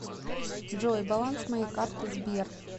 джой баланс моей карты сбер